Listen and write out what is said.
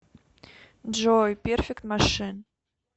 джой перфект машин